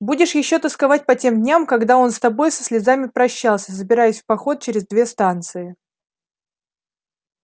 будешь ещё тосковать по тем дням когда он с тобой со слезами прощался собираясь в поход через две станции